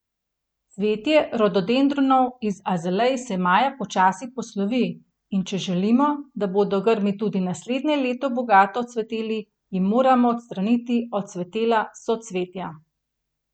Cvetje rododendronov in azalej se maja počasi poslovi, in če želimo, da bodo grmi tudi naslednje leto bogato cveteli, jim moramo odstraniti odcvetela socvetja.